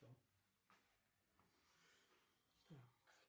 джой когда была франко индийская война